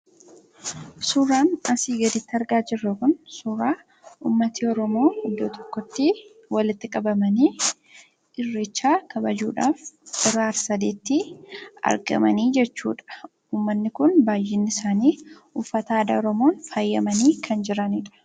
Suuraan asii gaditti argaa jirru kun, suuraa uummatni Oromoo iddoo tokkotti walitti qabamanii irreecha kabajuudhaaf hora ar-sadeetti argamanii jechuudha. Uummanni Kun baayyeen isaanii uffata aadaa Oromoo faayamanii kan jiranidha.